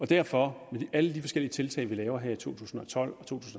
derfor med alle de forskellige tiltag vi laver her i to tusind og tolv